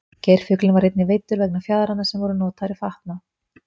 geirfuglinn var einnig veiddur vegna fjaðranna sem voru notaðar í fatnað